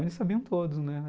Eles sabiam todos, né.